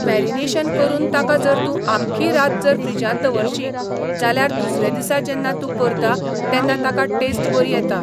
Marination करून ताका जर तूं आख्खी रात जर फ्रिजांत दवरशी, जाल्यार दुसरे दिसा जेन्ना तूं करता, तेन्ना ताका टॅस्ट बरी येता.